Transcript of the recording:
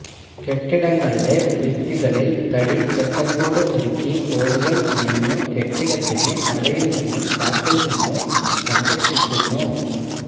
കെട്ടിടങ്ങളുടെ ഭിത്തികളിൽ തടി ചട്ടക്കൂട് ഒരുക്കി ഓടുകൾ മേയ്ഞ്ഞു കെട്ടിടത്തിനെ മഴയിൽ നിന്നും കാറ്റിൽ നിന്നും സംരക്ഷിക്കുന്നു